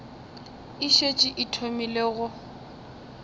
e šetše e thomile go